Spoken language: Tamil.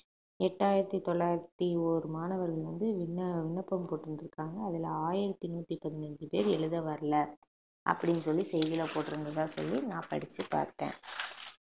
எட்டாயிரத்தி தொள்ளாயிரத்தி ஒரு மாணவர்கள் வந்து விண்ண~ விண்ணப்பம் போட்டு இருந்துருக்காங்க அதுல ஆயிரத்தி நூத்தி பதினஞ்சு பேர் எழுத வரல அப்படின்னு சொல்லி செய்தியில போட்டிருந்ததா சொல்லி நான் படிச்சு பார்த்தேன்